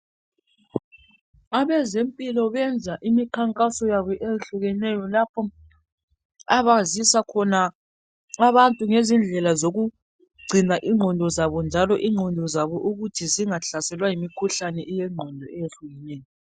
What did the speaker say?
Abezemphilo bayenza inikhangaso yabo ehlukeneyo lapho abazisa khona abantu ngezindela zokugcina igqondo zabo njalo igqondo zabo ukuthi zingahlaselwa yimkhuhle eyegqondo eyehlukileyo.